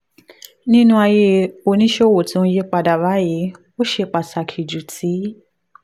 nínú ayé oníṣòwò tó ń yí padà báyìí ó ṣe pàtàkì ju ti